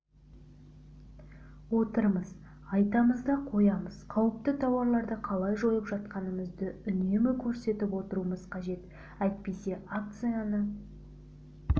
отырмыз айтамыз да қоямыз қауіпті тауарларды қалай жойып жатқанымызды үнемі көрсетіп отыруымыз қажет әйтпесе акцияны